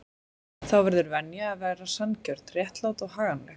Þá verður venja að vera sanngjörn, réttlát og haganleg.